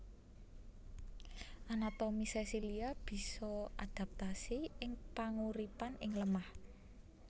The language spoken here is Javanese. Anatomi sesilia bisa adaptasi ing panguripan ing lemah